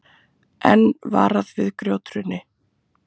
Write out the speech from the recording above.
Enn varað við grjóthruni